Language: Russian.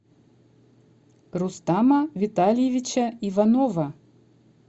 рустама витальевича иванова